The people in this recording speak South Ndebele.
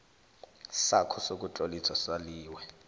sakho sokutloliswa saliwe